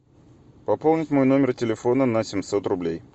пополнить мой номер телефона на семьсот рублей